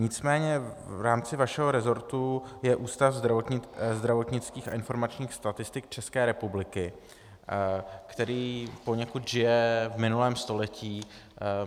Nicméně v rámci vašeho rezortu je Ústav zdravotnických a informačních statistik České republiky, který poněkud žije v minulém století.